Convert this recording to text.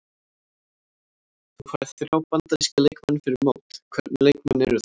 Þú færð þrjá Bandaríska leikmenn fyrir mót, hvernig leikmenn eru þetta?